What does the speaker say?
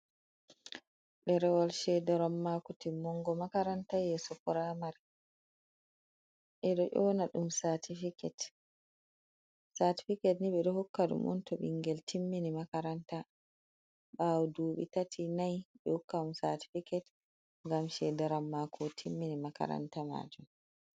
Ɗerawol shedaran mako timmungo makaranta yeso puramari, ɓeɗo ƴona ɗum satifiket, satifiket ɓe hukkadumunto ɓingel timmini makaranta ɓawo duɓi tati nay, ɓehokkamo satifiket, ngam shedaran mako otimmini makaranta majum.